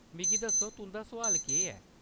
मिगी दस्सो, तुंʼदा सुआल केह्‌‌ ऐ ?